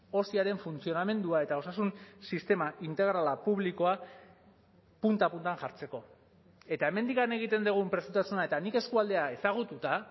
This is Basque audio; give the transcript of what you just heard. osiaren funtzionamendua eta osasun sistema integrala publikoa punta puntan jartzeko eta hemendik egiten dugun prestasuna eta nik eskualdea ezagututa